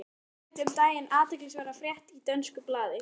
Ég sá einmitt um daginn athyglisverða frétt í dönsku blaði.